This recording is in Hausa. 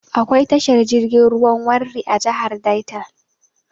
Akwai tashar jirgin ruwan Warri a jihar Delta.